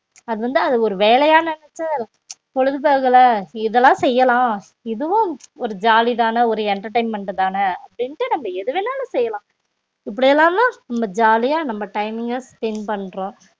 அது வந்து அத ஒரு வேலைய நெனச்சி பொழுது போகல இதுலான் செய்யலாம் இதுவும் ஒரு ஜாலி தான ஒரு entertainment தான அப்டிண்ட்டு நம்ம எதுவேனாலும் செயலாம் இப்டிலாம் தான் நம்ம ஜாலியா timing ங்க spend பண்றோம்